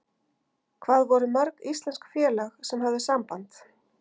Hvað voru mörg íslensk félög sem höfðu samband?